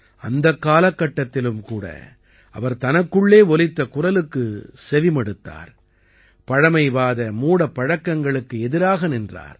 அந்தக் காலகட்டத்திலும் கூட அவர் தனக்குள்ளே ஒலித்த குரலுக்குச் செவி மடுத்தார் பழமைவாத மூடப் பழக்கங்களுக்கு எதிராக நின்றார்